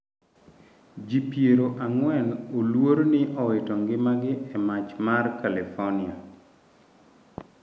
Ji piero ng'wen oluor ni owito ngimagi e mach mar California